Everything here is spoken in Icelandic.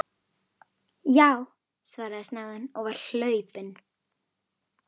Já, svaraði snáðinn og var hlaupinn.